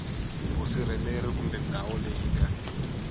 vusirheleri kumbe ndhawu leyi nga